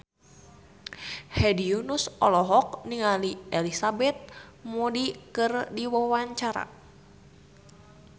Hedi Yunus olohok ningali Elizabeth Moody keur diwawancara